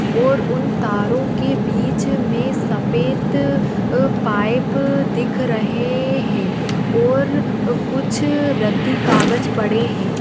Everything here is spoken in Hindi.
और उन तारो के बीच मे सफ़ेद अ- पाइप दिख रहे है। और कुच्छ रद्दी कागज पड़े है।